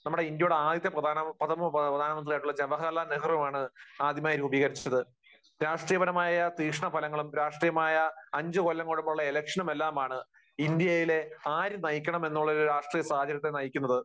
നമ്മുടെ ഇന്ത്യയുടെ ആദ്യത്തെ പ്രധാന, പ്രധാനമന്ത്രിയായിട്ടുള്ള ജവഹർലാൽ നെഹ്റുവാണ് ആദ്യമായി രൂപീകരിച്ചത്. രാഷ്ട്രീയപരമായ തീക്ഷ്‌ണഫലങ്ങളും അഞ്ചുകൊല്ലം കൂടുമ്പോഴുള്ള ഇലക്ഷനും എല്ലാമാണ് ഇന്ത്യയിലെ ആര് നയിക്കണം എന്നുള്ള ഒരു രാഷ്ട്രീയ സാഹചര്യത്തെ നയിക്കുന്നത്.